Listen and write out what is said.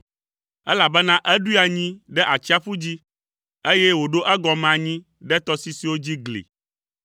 Elabena eɖoe anyi ɖe atsiaƒu dzi, eye wòɖo egɔme anyi ɖe tɔsisiwo dzi gli.